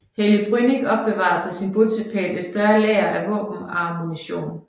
Helge Brünnich opbevarede på sin bopæl et større lager af våben og ammunition